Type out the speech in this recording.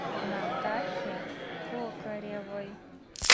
натахе кокоревой